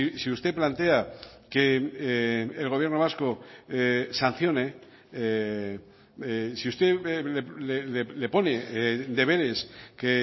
si usted plantea que el gobierno vasco sancione si usted le pone deberes que